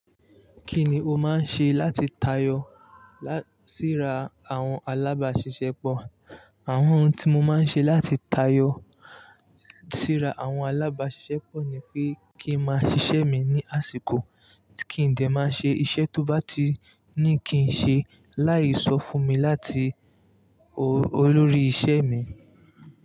Kí ni o máa ń ṣe láti tayọ síra àwọn alábàáṣiṣẹ́ pọ̀? Àwọn ohun tí mo máa ń ṣe láti tayọ síra àwọn alábàáṣiṣẹ́ pọ̀ ni pé kí n máa ṣiṣẹ́ mi ní àsìkò, kí n dẹ̀ máa ṣe iṣẹ́ tó bá ti ní kí n ṣe láì sọ fún mi láti olórí iṣẹ́ mi.